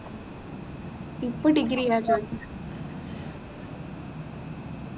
ഇപ്പൊ degree ലാ ചോദിക്കുന്നേ